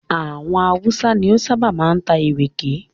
Àwọn Hausa ni ó ṣábà máa ń ta ìrèké.